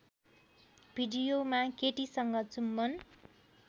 भिडियोमा केटीसँग चुम्बन